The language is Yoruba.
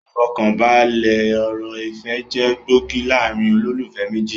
Ifọkanbalẹ ọ̀rọ̀ ìfẹ́ jẹ gbòógì láàrín olólùfẹ́ méjì